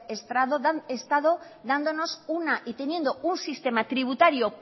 estado y teniendo un sistema tributario